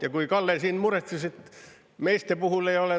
Ja kui Kalle siin muretses, et meeste puhul ei ole …